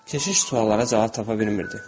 Keşiş suallara cavab tapa bilmirdi.